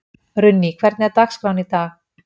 Runný, hvernig er dagskráin í dag?